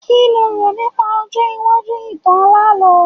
Kí lo rò nípa ọjọ́ iwájú ìtàn alálọ̀ọ́?